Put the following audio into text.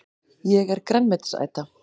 Ég er grænmetisæta!